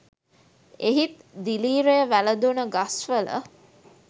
එහිත් දිලීරය වැළඳුන ගස්වල